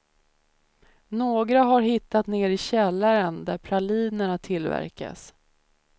Några har hittat ner i källaren där pralinerna tillverkas.